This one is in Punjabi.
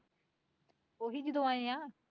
ਓਹੀ ਜਦੋਂ ਆਏ ਆ